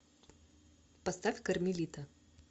поставь кармелита